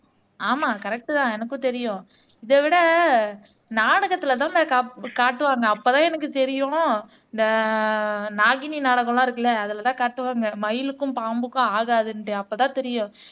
ஆமா கரெக்ட்தான் எனக்கும் தெரியும் இதை விட நாடகத்துலதான்டா காப் காட்டுவாங்க அப்பதான் எனக்கு தெரியும் இந்த நாகினி நாடகம்லாம் இருக்குல்ல அதுலதான் காட்டுவாங்க மயிலுக்கும் பாம்புக்கும் ஆகாதுன்னுட்டு அப்பதான் தெரியும்